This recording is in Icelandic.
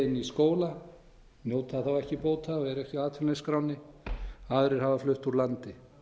í skóla njóta þá ekki bóta og eru ekki á atvinnuleysisskránni aðrir hafa flutt úr landi